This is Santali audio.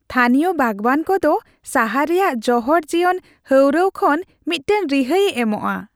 ᱛᱷᱟᱹᱱᱤᱭᱚ ᱵᱟᱜᱚᱣᱟᱱ ᱠᱚᱫᱚ ᱥᱟᱦᱟᱨ ᱨᱮᱭᱟᱜ ᱡᱚᱦᱚᱲ ᱡᱤᱭᱚᱱ ᱦᱟᱹᱣᱨᱟᱹᱣ ᱠᱷᱚᱱ ᱢᱤᱫᱴᱟᱝ ᱨᱤᱦᱟᱹᱭᱮ ᱮᱢᱚᱜᱼᱟ ᱾